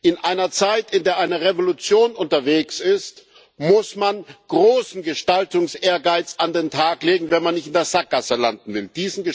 In einer Zeit, in der eine Revolution unterwegs ist, muss man großen Gestaltungsehrgeiz an den Tag legen, wenn man nicht in der Sackgasse landen will.